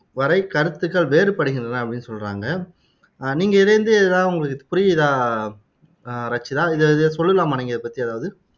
வரை கருத்துக்கள் வேறுபடுகின்றன அப்படின்னு சொல்றாங்க நீங்க இதுல இருந்து எதாவது உங்களுக்கு புரியுதா ஆஹ் ரச்சிதா இதை இதை சொல்லலாமா இதை பத்தி எதாவது